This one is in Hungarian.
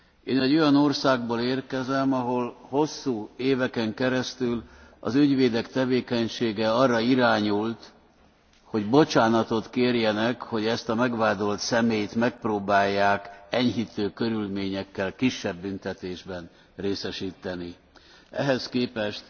Én egy olyan országból érkezem, ahol hosszú éveken keresztül az ügyvédek tevékenysége arra irányult, hogy bocsánatot kérjenek, hogy ezt a megvádolt személyt megpróbálják enyhítő körülményekkel kisebb büntetésben részesíteni. Ehhez képest